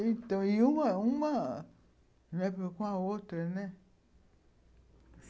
Então, e uma uma com a outra, né?